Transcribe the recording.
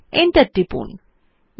URL বারএ লিখুন wwwgmailcom এবং Enter টিপুন